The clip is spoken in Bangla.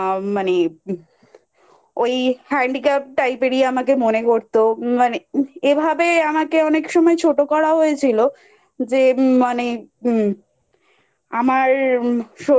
আ মানে ওই Handicapped Type এরই আমাকে মনে করত ম মানে এভাবে আমাকে অনেক সময় ছোট করা হয়েছিল যে ম মানে আমার শরীরের